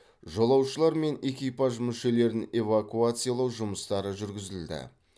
жолаушылар мен экипаж мүшелерін эвакуациялау жұмыстары жүргізілді